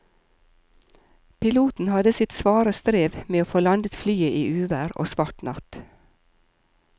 Piloten hadde sitt svare strev med å få landet flyet i uvær og svart natt.